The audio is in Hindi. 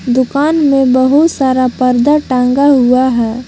दुकान में बहुत सारा पर्दा टांगा हुआ है।